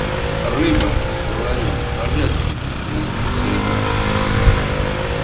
рыба говорю божественная пояснил сергей